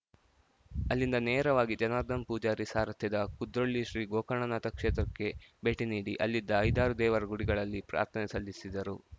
ಅಲ್ಲಿಂದ ನೇರವಾಗಿ ಜನಾರ್ದನ್ ಪೂಜಾರಿ ಸಾರಥ್ಯದ ಕುದ್ರೋಳಿ ಶ್ರೀ ಗೋಕರ್ಣನಾಥ ಕ್ಷೇತ್ರಕ್ಕೆ ಭೇಟಿ ನೀಡಿ ಅಲ್ಲಿದ್ದ ಐದಾರು ದೇವರ ಗುಡಿಗಳಲ್ಲಿ ಪ್ರಾರ್ಥನೆ ಸಲ್ಲಿಸಿದರು